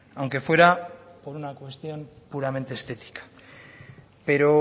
aunque fuera por una cuestión puramente estética pero